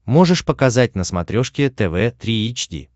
можешь показать на смотрешке тв три эйч ди